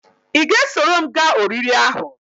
I ga-esoro m gaa oriri ahu?